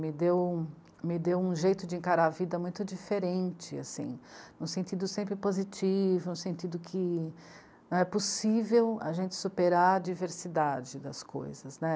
Me deu, me deu um jeito de encarar a vida muito diferente, assim, no sentido sempre positivo, no sentido que é possível a gente superar a diversidade das coisas, né.